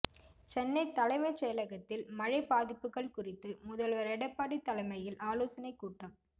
சென்னை தலைமைச்செயலகத்தில் மழை பாதிப்புகள் குறித்து முதல்வர் எடப்பாடி தலைமையில் ஆலோசனை கூட்டம்